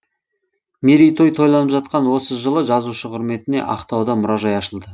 мерейтой тойланып жатқан осы жылы жазушы құрметіне ақтауда мұражай ашылды